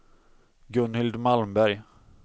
Gunhild Malmberg